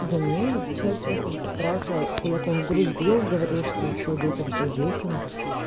да не этот человек просто брал себя кулаком в грудь бил говорил что всё детям всё детям